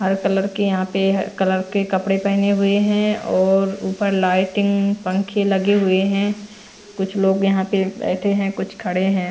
हर colour के यहां पे कलर के कपड़े पहने हुए हैं और ऊपर लाइटिंग पंखे लगे हुए हैं कुछ लोग यहां पे बैठे हैं कुछ खड़े हैं।